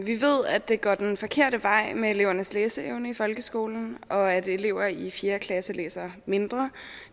vi ved at det går den forkerte vej med elevernes læseevne i folkeskolen og at elever i fjerde klasse læser mindre